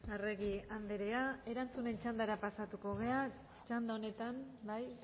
arregi andrea erantzunen txandara pasatuko gara txanda honetan bai